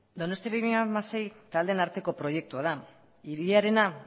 donostia bi mila hamasei taldeen arteko proiektua da hiriarena